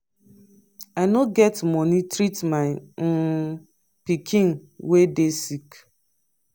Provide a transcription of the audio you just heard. i no get money treat my um pikin wey dey sick.